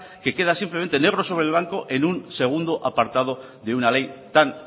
que queda simplemente negro sobre blanco en un segundo apartado de una ley tan